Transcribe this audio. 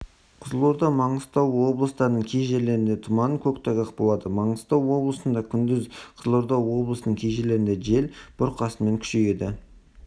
қызылорда маңғыстау облыстарының кей жерлерінде тұман көктайғақ болады маңғыстау облысында күндіз қызылорда облысының кей жерлерінде жел бұрқасынмен күшейеді